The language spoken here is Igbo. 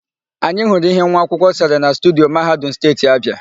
Anyị hụrụ íhé nwaakwụkwọ sere na studio Mahadum Steeti Abịa.